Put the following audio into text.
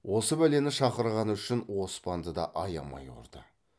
осы бәлені шақырғаны үшін оспанды да аямай ұрды